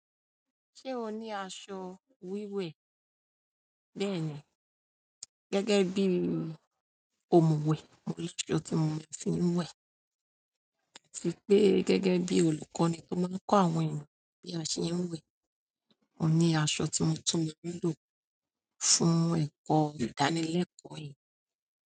Ṣé o ní aṣọ wíwẹ̀ bẹ́ẹ̀ni gẹ́gẹ́ bí i òmuwẹ̀. Mo rí i lọ́ ti mo fi ń wẹ̀. Ó ti pẹ́ gẹ́gẹ́ bí olùkọ́ni tó máa n kọ́ àwọn ènìyàn bí a se ń wẹ̀. Mo ní àṣo tí mo tún lè ri lò fún ẹ̀kọ́ ìdánilẹ́kọ̀ọ́ èyí.